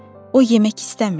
O yemək istəmirdi.